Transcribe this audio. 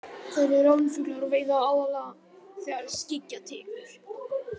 Þær eru ránfuglar og veiða aðallega þegar skyggja tekur.